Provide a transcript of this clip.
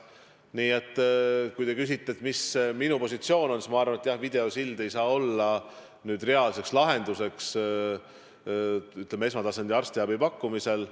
Nii et kui te küsite, mis minu positsioon on, siis ma arvan, et jah, videosild ei saa olla reaalne lahendus esmatasandi arstiabi pakkumisel.